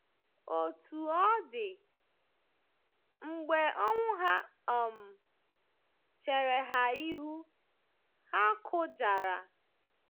Otú ọ dị, mgbe ọnwụ ha um chere ha ihu, ha kụjara.